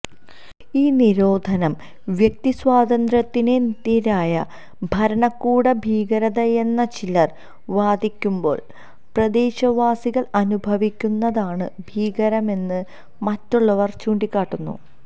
ഈ നിരോധം വ്യക്തി സ്വാതന്ത്ര്യത്തിനെതിരായ ഭരണകൂട ഭീകരതയെന്ന് ചിലര് വാദിക്കുമ്പോള് പ്രദേശവാസികള് അനുഭവിക്കുന്നതാണ് ഭീകരമെന്ന് മറ്റുള്ളവര് ചൂണ്ടിക്കാട്ടുന്നു